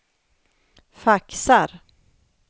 faxar